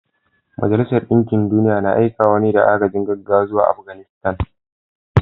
Majalisar Dinkin Duniya na aikewa da agajin gaggawa zuwa Afganistan